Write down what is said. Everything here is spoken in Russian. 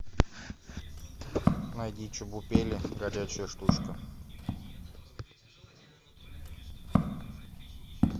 найди чебупели горячая штучка